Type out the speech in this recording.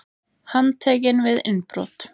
Handtekinn við innbrot